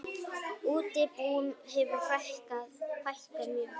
Útibúum hefur fækkað mjög.